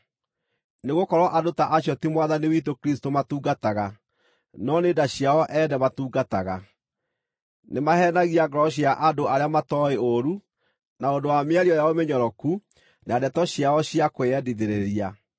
Nĩgũkorwo andũ ta acio ti Mwathani witũ Kristũ matungataga, no nĩ nda ciao ene matungataga. Nĩmaheenagia ngoro cia andũ arĩa matooĩ ũũru na ũndũ wa mĩario yao mĩnyoroku na ndeto ciao cia kwĩyendithĩrĩria.